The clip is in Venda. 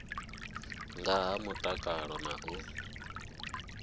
nga ha mutakalo na u